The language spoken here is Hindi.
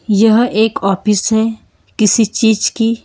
यह एक ऑफिस है किसी चीज की।